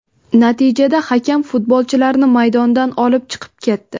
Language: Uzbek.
Natijada hakam futbolchilarni maydondan olib chiqib ketdi.